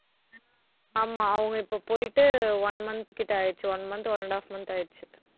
ஆமா, அவங்க இப்ப போயிட்டு one month கிட்ட ஆயிடுச்சு one month, one-and-a-half month ஆயிடுச்சு